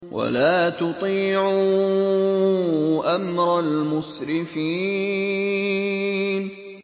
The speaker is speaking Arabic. وَلَا تُطِيعُوا أَمْرَ الْمُسْرِفِينَ